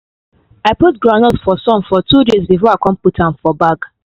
i put groundnut for sun for two days before i put am for bag